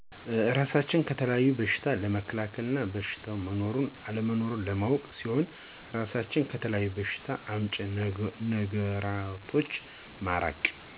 እራሳችንን ከተለያዩ በሸታዎች ለመከላከል እና በሸታው መኖሩንና አለመኖሩን ለማወቅ ሲሆን እራሳችንን ከተለያዪ በሸታ አምጪ ነገራቶች በማራቅ